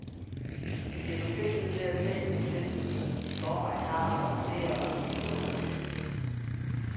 De bliver forpligtet til, at se på de tilbud, som de i forvejen har og vurdere, om de er gode nok.